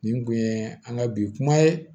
Nin kun ye an ka bi kuma ye